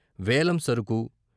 వేలం సరుకు